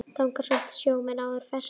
Þangað sóttu sjómenn áður ferskt vatn.